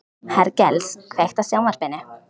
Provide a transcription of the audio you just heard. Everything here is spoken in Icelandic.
Hergils, kveiktu á sjónvarpinu.